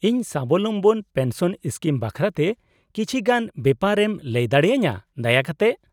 -ᱤᱧ ᱥᱟᱵᱚᱞᱚᱢᱵᱚᱱ pension scheme ᱵᱟᱠᱷᱨᱟ ᱛᱮ ᱠᱤᱪᱷᱤ ᱜᱟᱱ ᱵᱮᱯᱟᱨ ᱮᱢ ᱞᱟᱹᱭ ᱫᱟᱲᱮ ᱟᱹᱧᱟᱹ, ᱫᱟᱭᱟᱠᱟᱛᱮ ?